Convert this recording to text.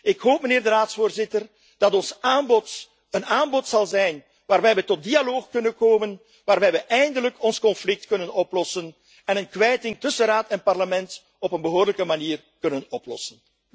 Ik hoop, meneer de Raadsvoorzitter, dat ons aanbod een aanbod zal zijn waarbij we tot dialoog kunnen komen, waarbij we eindelijk ons conflict kunnen oplossen en een kwijting tussen Raad en Parlement op een behoorlijke manier kunnen oplossen.